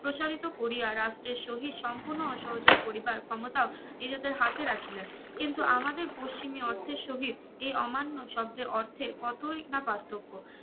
প্রসারিত করিয়া রাষ্ট্রের সহিত সম্পুর্নো অসহযোগ করিবার ক্ষমতাও নিজেদের হাতে রাখিলেন কিন্তু আমাদের পশ্চিমী অর্থের সহিত এই অমান্য শব্দের অর্থে কতই না পার্থক্য